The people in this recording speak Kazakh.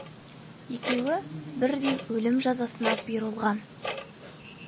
екеуі бірдей өлім жазасына бұйырылған